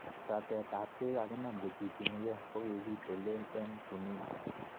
Ratetab chekikakinam kocbuchunikei kokikitelel eng Tunisia